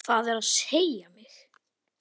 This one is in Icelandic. Það er að segja mig.